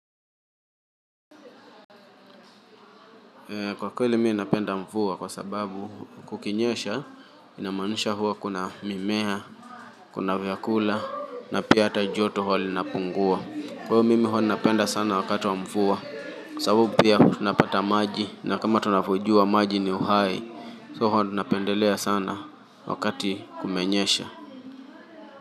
Kwa kweli mimi ninapenda mvua kwa sababu kukinyesha inamaanisha huwa kuna mimea, kuna vyakula na pia hata joto huwa linapungua. Huwa mimi huwa napenda sana wakati wa mvua, sababu pia tunapata maji na kama tunavyojua maji ni uhai, so huwa tunapendelea sana wakati kumenyesha.